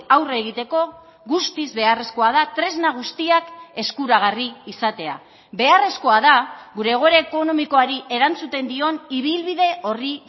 aurre egiteko guztiz beharrezkoa da tresna guztiak eskuragarri izatea beharrezkoa da gure egoera ekonomikoari erantzuten dion ibilbide orri